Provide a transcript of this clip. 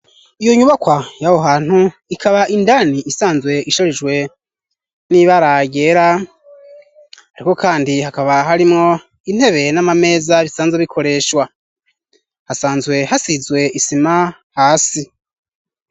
Iyo nyubakwa y'aho hantu ikaba indani isanzwe isharijwe n'ibara ryera, ariko kandi hakaba harimwo intebe n'amameza bisanzwe bikoreshwa, hasanzwe hasizwe isima hasi.